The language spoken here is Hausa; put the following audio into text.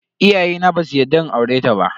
Iyayena basu yarda in aureta ba.